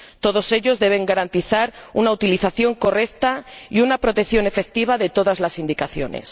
Todos ellos deben garantizar una utilización correcta y una protección efectiva de todas las indicaciones.